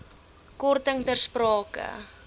korting ter sprake